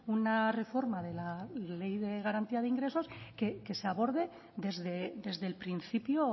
una reforma de la ley de garantía de ingresos que se aborde desde el principio